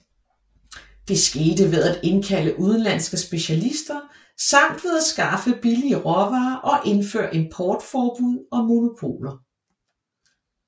Det skete ved at indkalde udenlandske specialister samt ved at skaffe billige råvarer og indføre importforbud og monopoler